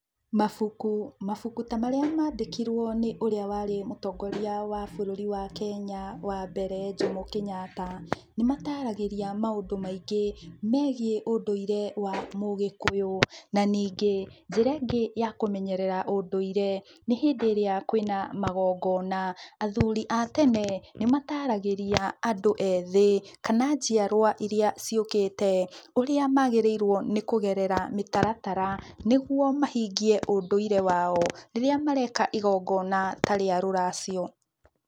Mabuku, mabuku ta marĩa mandĩkirwo nĩ ũrĩa warĩ mũtongoria wa bũrũri wa Kenya wa mbere Jomo Kenyatta, nĩmataragĩria maũndũ maingĩ megiĩ ũndũire wa mũgĩkũyũ, na ningĩ njĩra ĩngĩ ya kũmenyerera ũndũire, nĩ hĩndĩ ĩrĩa kwĩna magongona. Athuri a tene, nĩmataragĩria andũ ethĩ kana njiarwa iria ciũkĩte, ũrĩa magĩrĩirwo kũgerera mĩtaratara nĩguo mahingie ũndũire wao rĩrĩa mareka igongona ta rĩa rũracio.